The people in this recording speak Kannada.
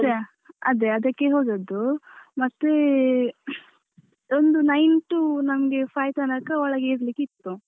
ಅದೇ ಅದಕ್ಕೆ ಹೋದದ್ದು ಮತ್ತೆ ಒಂದು nine to ನಮ್ಗೆ five ತನಕ ಒಳಗೆ ಇರ್ಲಿಕ್ಕಿತ್ತು.